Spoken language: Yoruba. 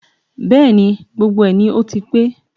Bẹ́ẹ̀ni, gbogbo ẹ̀ ni ó ti pé